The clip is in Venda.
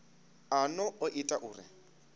a no o ita uri